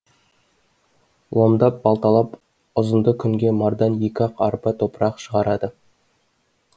ломдап балталап ұзынды күнге мардан екі ақ арба топырақ шығарады